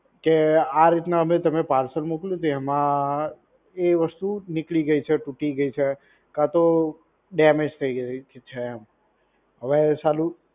કે આ રીતના અમે તમે parcel મોકલ્યું છે એમાં એ વસ્તુ નીકળી ગઈ છે તૂટી ગઈ છે કાં તો damage ડેમેજ થઈ ગઈ છે એમ. હવે સાલું